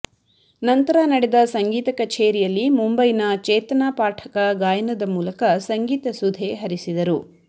ನಂತರ ನಡೆದ ಸಂಗೀತ ಕಛೇರಿಯಲ್ಲಿ ಮುಂಬೈನ ಚೇತನಾ ಪಾಠಕ ಗಾಯನದ ಮೂಲಕ ಸಂಗೀತ ಸುಧೆ ಹರಿಸಿದರು